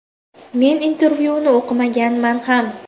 Men intervyuni o‘qimaganman ham.